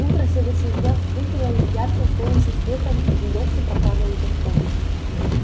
утро следующего дня встретило их ярким солнечным светом и лёгким прохладным ветерком